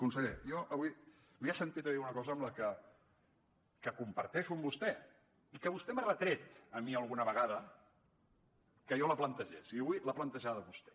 conseller jo avui l’he sentit dir una cosa que comparteixo amb vostè i que vostè m’ha retret a mi alguna vegada que jo plantegés i avui l’ha plantejada vostè